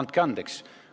No andke andeks!